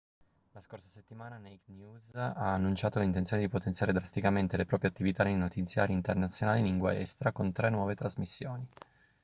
la scorsa settimana naked news ha annunciato l'intenzione di potenziare drasticamente le proprie attività nei notiziari internazionali in lingua estera con tre nuove trasmissioni